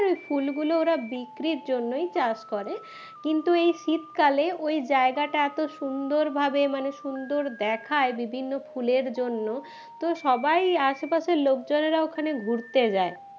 ফুলগুলো ওরা বিক্রির জন্যই চাষ করে কিন্তু এই শীতকালে ওই জায়গাটা এত সুন্দর ভাবে মানে সুন্দর দেখায় বিভিন্ন ফুলের জন্য তো সবাই আশেপাশের লোকজনেরা ওখানে ঘুরতে যায়